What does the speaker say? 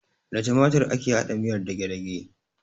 Da timatir ake haɗa miyar dagedage